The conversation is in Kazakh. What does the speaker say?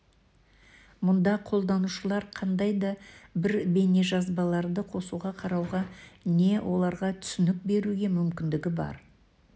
мұнда қолданушылар қандай да бір бейнежазбаларды қосуға қарауға не оларға түсінік беруге мүмкіндігі бар